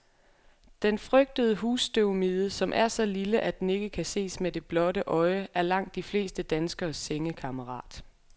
Den frygtede husstøvmide, som er så lille, at den ikke kan ses med det blotte øje, er langt de fleste danskeres sengekammerat.